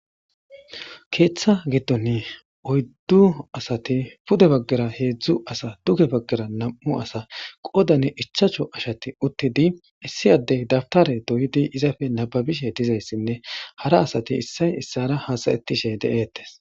keeththa giddon oyddu asati pude baggara heedzdzu asa duge baggara nam'u asa qodane ichacho ashati uttidi issiyaddey dabtare doyidi izafe nababishe dizayssinne hara asati issay issara hasayettishe de'etes